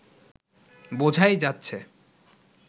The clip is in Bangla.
বোঝাই যাচ্ছে